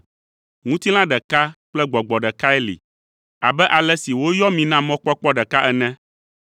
Ŋutilã ɖeka kple Gbɔgbɔ ɖekae li, abe ale si woyɔ mi na mɔkpɔkpɔ ɖeka ene.